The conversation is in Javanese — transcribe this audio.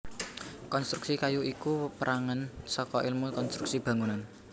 Konstruksi kayu iku pérangan saka èlmu konstruksi bangunan